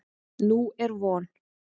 Nú er von.